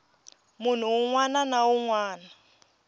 munhu wun wana na wun